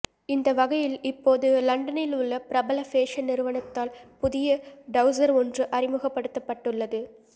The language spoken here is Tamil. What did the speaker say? இந்த வகையில் இப்போது லண்டனில் உள்ள பிரபல ஃபேஷன் நிறுவனவத்தால் புதிய டவுசர் ஒன்று அறிமுகப்படுத்தப்பட்டுள்ளது